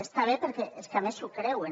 està bé perquè és que a més s’ho creuen